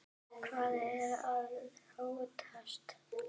Hvað er að óttast?